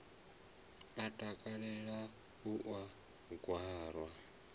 a takalela u u gwara